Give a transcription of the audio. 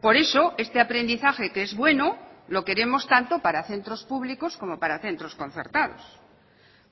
por eso este aprendizaje que es bueno lo queremos tanto para centros públicos como para centros concertados